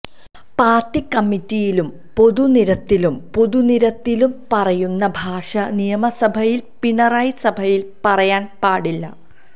party കമ്മിറ്റിയിലും പൊതു നിരത്തിലും പൊതുനിരത്തിലും പറയുന്ന ഭാഷ നിയമസഭയില് പിണറായി സഭയില് പറയാന് പാടില്ല